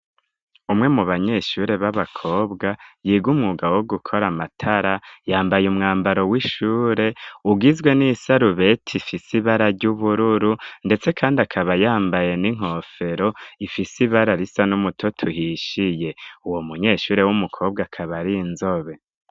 umwe mu banyeshure b'abakobwa biga umwuga wo gukora amatara yambaye umwambaro w'ishure ugizwe n'isarube ifise ibara ry'ubururu ndetse kandi akaba yambaye n'inkofero ifise ibara risa n'umuto tuhishiye uwo munyeshure w'umukobwa akaba ari inzobe.